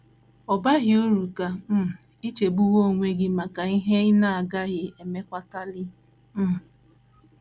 Ọ baghị uru ka um i chegbuwe onwe gị maka ihe ị na - agaghị emekwatali um.